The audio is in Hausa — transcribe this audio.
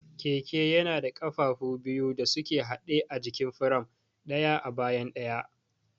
Keke yana da ƙafafu biyu da suke haɗe a jikin firam, ɗaya a bayan ɗayan.